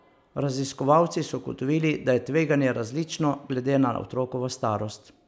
Raziskovalci so ugotovili, da je tveganje različno glede na otrokovo starost.